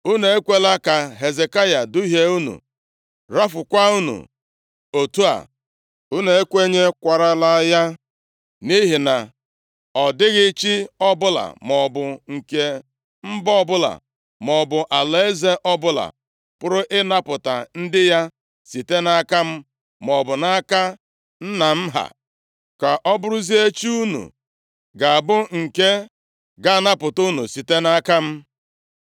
Unu ekwela ka Hezekaya duhie unu, rafuokwa unu otu a. Unu ekwenyekwarala ya, nʼihi na ọ dịghị chi ọbụla maọbụ nke mba ọbụla maọbụ alaeze ọbụla pụrụ ịnapụta ndị ya site nʼaka m maọbụ nʼaka nna m ha. Ka ọ bụrụzie chi unu ga-abụ nke ga-anapụta unu site nʼaka m!”